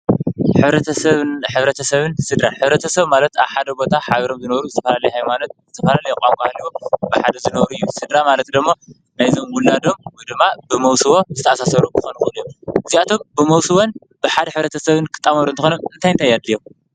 ሕብረተሰብን ስድራን-ሕብረተሰብ ማለት ኣብ ሓደ ቦታ ሓቢሮም ዝነብሩ ዝተፈላለየ ሃይማኖት፣ ዝተፈላለየ ቛንቋ ሃልይዎም ብሓደ ዝነሩ እዮም፡፡ ስድራ ማለት ደሞ ናይዞም ውላዶም ወይ ድማ ብመውስቦ ዝተኣሳሰሩ ክኾኑ ይኽእሉ እዮም፡፡ እዚኣቶም ብመውስቦን ብሓደ ሕብረተሰብን ክጣመሩ እንተኾይኖም እንታይ እንታይ የድልዮም?